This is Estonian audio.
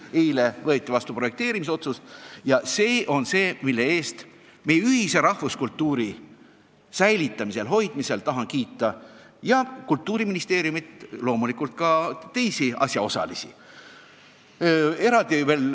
Eile võeti vastu projekteerimisotsus ja selle eest, meie rahvuskultuuri hoidmise eest, tahan kiita Kultuuriministeeriumit, aga loomulikult ka teisi asjaosalisi.